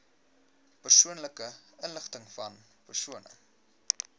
persoonlike inligtingvan persone